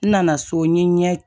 N nana so n ye n ɲɛ